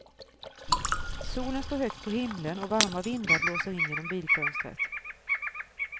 Solen står högt på himlen och varma vindar blåser in genom bilfönstret.